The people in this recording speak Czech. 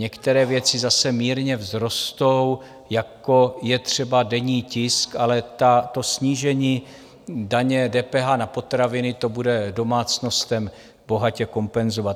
Některé věci zase mírně vzrostou, jako je třeba denní tisk, ale to snížení daně, DPH na potraviny, to bude domácnostem bohatě kompenzovat.